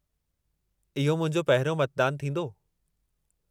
इहो मुंहिंजो पहिरियों मतदानु थींदो।